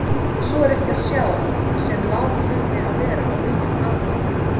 Svo er ekki að sjá sem lát þurfi að vera á nýjum athöfnum.